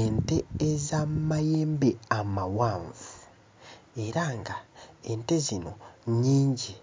Ente ez'amayembe amawanvu, era ng'ente zino nnyingi,